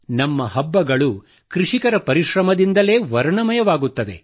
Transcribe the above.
ನಮ್ಮ ಹಬ್ಬಗಳು ಕೃಷಿಕರ ಪರಿಶ್ರಮದಿಂದಲೇ ವರ್ಣಮಯವಾಗುತ್ತವೆ